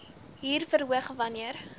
huur verhoog wanneer